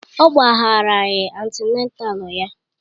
Ọ gbagharaghị antịnátál ya